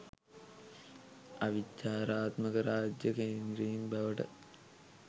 අවිචාරාත්මක රාජ්‍ය කේන්ද්‍රීන් බවට